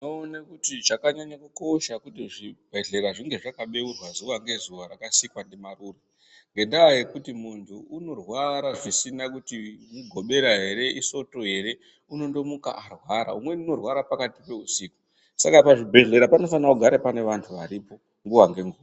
Tinoone kuti chakanyanye kukosha ngechekuti zvibhedhlera zvinge zvakabeurwa zuva nezuva rakasikwa ndimarure. Ngendaa yekuti muntu unorwara zvisina kuti Mugobera ere, iSondo ere, unondomuka arwara, umweni unorwara pakati peusiku. Saka pazvibhedhlera panofane kugara pane vantu varipo nguva nenguva.